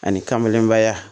Ani kamelenbaya